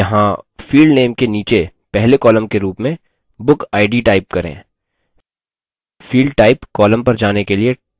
यहाँ field name के नीचे पहले column के रूप में bookid type करें